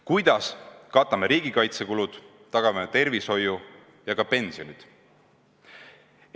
Kuidas katame riigikaitsekulud, tagame tervishoiu ja ka pensionid?